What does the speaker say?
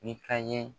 Ni ka ye